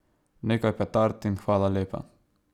Nekaj petard in hvala lepa.